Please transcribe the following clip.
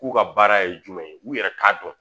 K'u ka baara ye jumɛn ye u yɛrɛ t'a dɔn